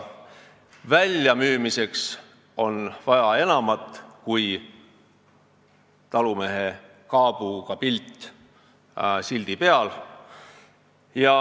Ja väljamüümiseks on vaja enamat kui kaabuga talumehe pilti sildi peal.